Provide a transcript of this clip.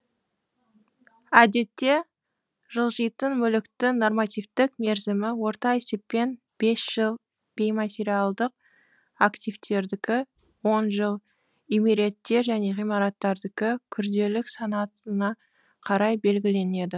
әдетте жылжитын мүліктің нормативтік мерзімі орта есеппен бес жыл бейматериалдық активтердікі он жыл үймереттер мен ғимараттардікі күрделілік санатына қарай белгіленеді б